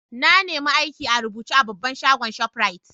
I nema aiki a rubuce a babban shagon' shoprite.